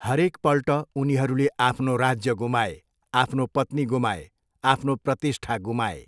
हरेकपल्ट उनीहरूले आफ्नो राज्य गुमाए, आफ्नो पत्नी गुमाए, आफ्नो प्रतिष्ठा गुमाए।